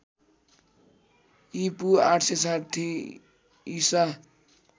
ईपू ८६० ईसा